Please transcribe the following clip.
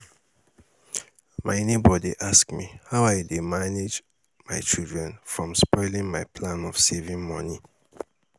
My neighbour dey ask me how I dey manage my children from spoiling my plan of saving money